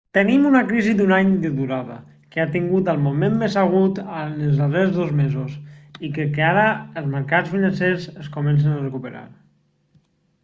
tenim una crisi d'un any de durada que ha tingut el moment més agut en els darrers dos mesos i crec que ara els marcats financers es comencen a recuperar